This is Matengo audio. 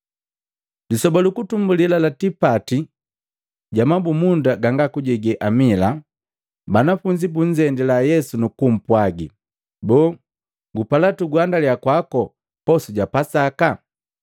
Lisoba lukutumbuli la tipati ga mabumunda ganga kujege amila, banafunzi bunzendila Yesu nukupwagi, “Boo gupala tukuguhandaliya kwako posu ja Pasaka?”